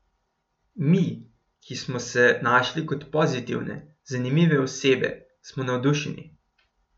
Mi, ki smo se našli kot pozitivne, zanimive osebe, smo navdušeni.